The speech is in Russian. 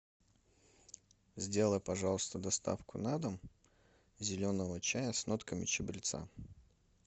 сделай пожалуйста доставку на дом зеленого чая с нотками чабреца